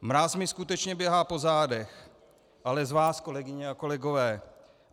Mráz mi skutečně běhá po zádech, ale z vás, kolegyně a kolegové.